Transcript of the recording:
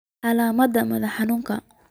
Calaamadaha madax xanuunka